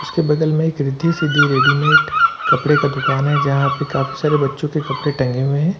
उसके बगल में एक रिद्धि सिद्धि रेडीमेड कपड़े का दुकान है जहां पर काफी सारे बच्चों के कपड़े टंगे हुए हैं।